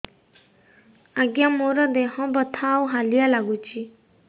ଆଜ୍ଞା ମୋର ଦେହ ବଥା ଆଉ ହାଲିଆ ଲାଗୁଚି